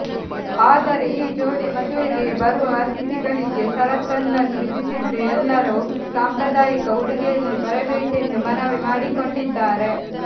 ಆದರೆ ಈ ಜೋಡಿ ಮದುವೆಗೆ ಬರುವ ಅತಿಥಿಗಳಿಗೆ ಷರತ್ತೊಂದನ್ನು ವಿಧಿಸಿದ್ದು ಎಲ್ಲರೂ ಸಾಂಪ್ರದಾಯಿಕ ಉಡುಗೆಯಲ್ಲಿ ಬರಬೇಕೆಂದು ಮನವಿ ಮಾಡಿಕೊಂಡಿದ್ದಾರೆ